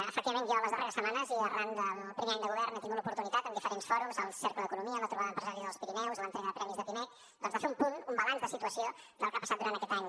efectivament jo les darreres setmanes i arran del primer any de govern he tingut l’oportunitat en diferents fòrums al cercle d’economia a la trobada empresarial al pirineus a l’entrega de premis de pimec doncs de fer un punt un balanç de situació del que ha passat durant aquest any